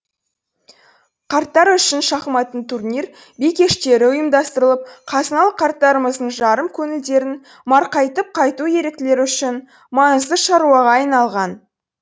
қарттар үшін шахматтан турнир би кештері ұйымдастырылып қазыналы қарттарымыздың жарым көңілдерін марқайтып қайту еріктілер үшін маңызды шаруаға айналған